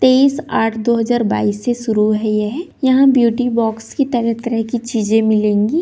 तेईस आठ दो हजार बाइस से शुरू है यह यहाँ ब्यूटी बॉक्स की तरह तरह की चीज़ें मिलेंगी।